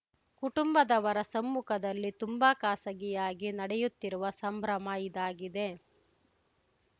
ಕುಟುಂಬದವರ ಸಮ್ಮುಖದಲ್ಲಿ ತುಂಬಾ ಖಾಸಗಿಯಾಗಿ ನಡೆಯುತ್ತಿರುವ ಸಂಭ್ರಮ ಇದಾಗಿದೆ